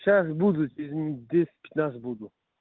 сейчас буду через минут десять пятнадцать буду